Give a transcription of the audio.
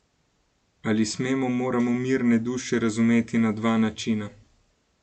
Ali smemo, moramo Mirne duše razumeti na dva načina?